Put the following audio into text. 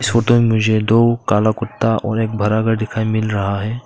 Photo में मुझे दो काला कुत्ता और एक दिखाई मिल रहा है।